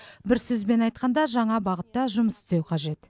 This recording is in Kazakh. бір сөзбен айтқанда жаңа бағытта жұмыс істеу қажет